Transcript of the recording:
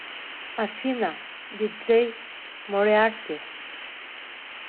афина диджей мориарти